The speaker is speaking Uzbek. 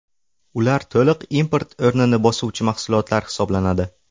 Ular to‘liq import o‘rnini bosuvchi mahsulotlar hisoblanadi.